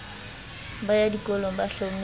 ba ya dikolong ba hlometse